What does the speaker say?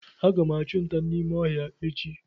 Aga m achụ nta n’ime ọhịa echi